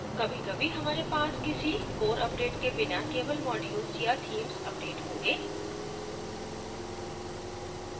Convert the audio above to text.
कभी कभी हमारे पास किसी core अपडेट के बिना केवल modules या themes अपडेट होगें